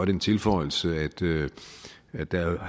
den tilføjelse at der